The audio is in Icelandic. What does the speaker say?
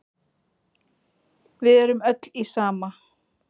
Við erum öll í sama